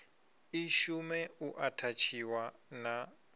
i shume u athatshiwa na